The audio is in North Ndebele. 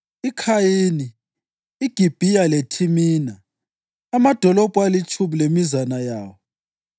iKhayini, iGibhiya leThimina, amadolobho alitshumi lemizana yawo.